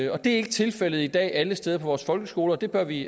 og det er ikke tilfældet i dag alle steder i vores folkeskoler og det bør vi